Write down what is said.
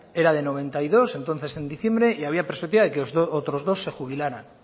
era de noventa y dos entonces en diciembre y había perspectiva de que otros dos se jubilaran